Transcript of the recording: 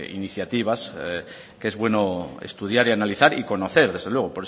iniciativas que es bueno estudiar y analizar y conocer desde luego